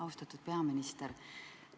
Austatud peaminister!